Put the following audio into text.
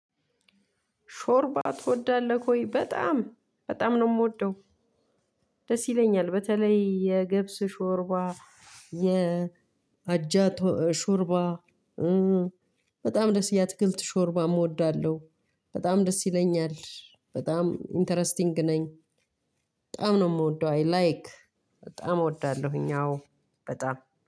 ሾርባ ትወዳለክ ወይ? በጣም በጣም ነው የምወደው። ደስ ይለኛል በተለይ የገብስ ሾርባ የአጃ ሾርባ። በጣም ደስ የአትክልት ሾርባም እወዳለሁ። በጣም ደስ ይለኛል በጣም ኢንተረስቲንግ ነኝ። በጣም ነው የምወደው አይላይክ በጣም እወዳለሁኝ አዎ በጣም